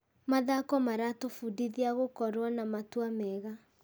Mathako maratũbundithia gũkorwo na matua mega.